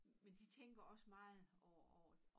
Men de tænker også meget over over